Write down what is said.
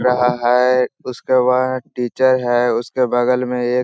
रहा है उसके बाद टीचर है उसके बगल में एक --